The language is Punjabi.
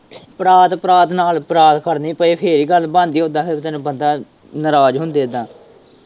ਪਰਾਥ, ਪਰਾਥ ਨਾਲ਼ ਖੜਨੀ ਪਏ ਫੇਰ ਹੀ ਗੱਲ ਬਣਦੀ ਉੱਦਾ ਫੇਰ ਬੰਦਾ ਨਾਰਾਜ਼ ਹੁੰਦੇ ਇੱਦਾ।